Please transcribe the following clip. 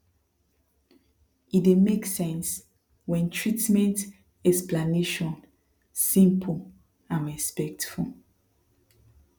e dey make sense when treatment explanation simple and respectful